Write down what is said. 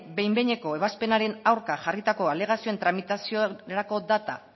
behin behineko ebazpenaren aurka jarritako alegazioen tramitaziorako data